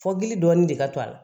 Fɔ gili dɔɔnin de ka to a la